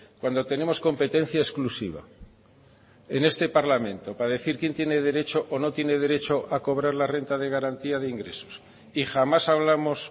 cuando tenemos competencia exclusiva en este parlamento para decir quién tiene derecho o no tiene derecho a cobrar la renta de garantía de ingresos y jamás hablamos